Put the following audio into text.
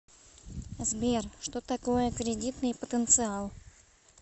сбер что такое кредитный потенциал